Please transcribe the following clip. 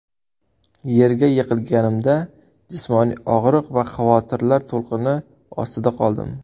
Yerga yiqilganimda jismoniy og‘riq va xavotirlar to‘lqini ostida qoldim.